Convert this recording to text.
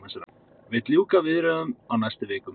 Vill ljúka viðræðum á næstu vikum